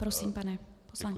Prosím, pane poslanče.